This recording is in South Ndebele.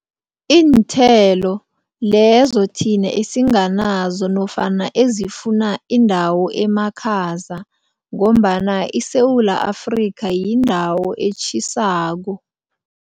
Iinthelo lezo thina esinganazo nofana ezifuna indawo emakhaza ngombana iSewula Afrika yindawo etjhisako.